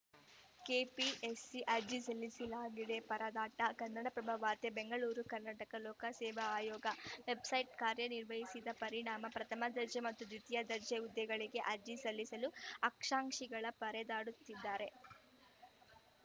KPSC ಅರ್ಜಿ ಸಲ್ಲಿಸಲಾಗದೆ ಪರದಾಟ ಕನ್ನಡಪ್ರಭ ವಾರ್ತೆ ಬೆಂಗಳೂರು ಕರ್ನಾಟಕ ಲೋಕಸೇವಾ ಆಯೋಗ ವೆಬ್‌ಸೈಟ್‌ ಕಾರ್ಯನಿರ್ವಹಿಸದ ಪರಿಣಾಮ ಪ್ರಥಮ ದರ್ಜೆ ಮತ್ತು ದ್ವಿತೀಯ ದರ್ಜೆ ಹುದ್ದೆಗಳಿಗೆ ಅರ್ಜಿ ಸಲ್ಲಿಸಲು ಆಕ್ಷಂ ಕ್ಷಿಗಳು ಪರದಾಡುತ್ತಿದ್ದಾರೆ